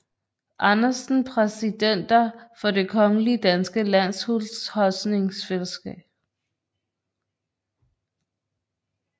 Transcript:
Andersen Præsidenter for Det Kongelige Danske Landhusholdningsselskab